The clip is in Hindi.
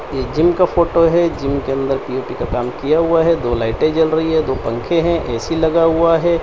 ये जिम का फोटो है जिम के अंदर पी_ओ_पी का काम किया हुआ है दो लाइटें जल रही है दो पंखे हैं ए_सी लगा हुआ है।